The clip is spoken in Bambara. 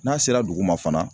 N'a sera dugu ma fana